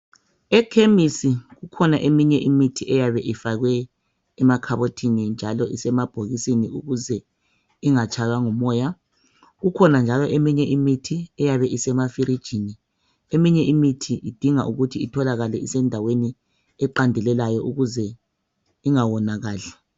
Ekhemisi kukhona eminye imithi eyabe ifakwe emakhabothini njalo isemabhokisini ukuze ingatshaywa ngumoya. Kukhona njalo eminye imithi eyabe isemafirijini. Eminye imithi idinga ukuthi itholakale isendaweni eqandeleleyo ukuze ingawonakali.